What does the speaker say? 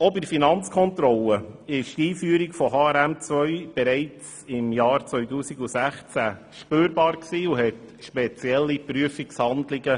Auch bei der Finanzkontrolle war die Einführung von HRM2 bereits im Jahr 2016 spürbar und erforderte spezielle Prüfungshandlungen.